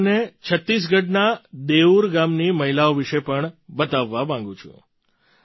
હું તમને છત્તીસગઢના દેઉર ગામની મહિલાઓ વિશે પણ બતાવવા માગું છું